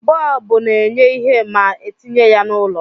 Bọọbu na-enye ihe ma etinye ya n'ụlọ